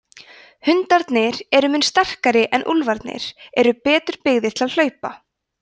hundarnir eru mun sterklegri en úlfarnir eru betur byggðir til hlaupa